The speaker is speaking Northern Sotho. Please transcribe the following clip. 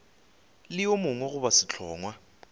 le yo mongwe goba sehlongwa